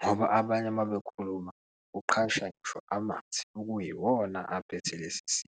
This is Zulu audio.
ngoba abanye uma bekhuluma kuqhasha ngisho amathe okuyiwona aphethe lesi sifo.